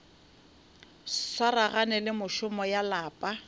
swaragane le mešomo ya lapa